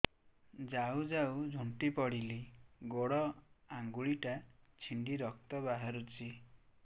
ଯାଉ ଯାଉ ଝୁଣ୍ଟି ପଡ଼ିଲି ଗୋଡ଼ ଆଂଗୁଳିଟା ଛିଣ୍ଡି ରକ୍ତ ବାହାରୁଚି